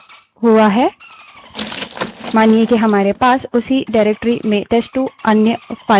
मानिए कि हमारे पास उसी डाइरेक्टरी में टेस्ट2 अन्य फाइल है